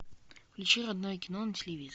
включи родное кино на телевизоре